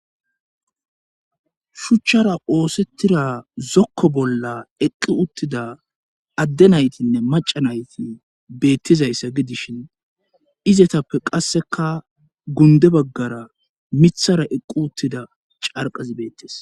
shuchchara oosettira zokko bolla eqqi uttida adde naytinne maca nayti beettizayssa gidishin izetappe qasseka gunde baggara mithara eqqi uttida carqazi beettes.